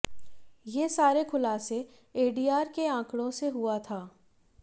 ये सारे खुलासे एडीआर के आंकड़ों से हुआ था